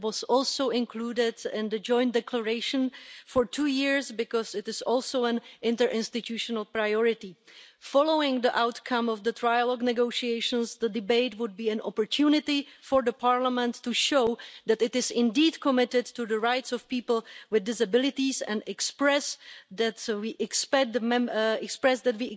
It has been included in the Joint Declaration for two years because it is also an interinstitutional priority. Following the outcome of the trilogue negotiations, the debate would be an opportunity for Parliament to show that it is indeed committed to the rights of people with disabilities and to express our expectation that